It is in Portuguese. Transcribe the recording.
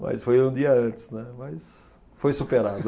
Mas foi um dia antes, né, mas foi superado.